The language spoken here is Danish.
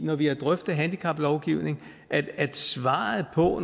når vi har drøftet handicaplovgivning at svaret på